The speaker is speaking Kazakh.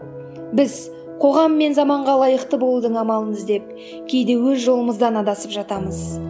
біз қоғам мен заманға лайықты болудың амалын іздеп кейде өз жолымыздан адасып жатамыз